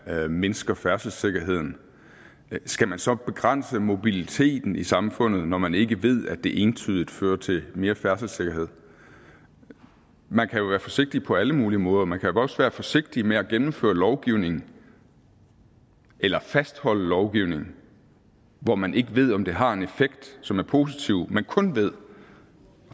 at man mindsker færdselssikkerheden skal man så begrænse mobiliteten i samfundet når man ikke ved at det entydigt fører til mere færdselssikkerhed man kan jo være forsigtig på alle mulige måder man kan også være forsigtig med at gennemføre lovgivning eller fastholde lovgivning hvor man ikke ved om det har en effekt som er positiv men kun ved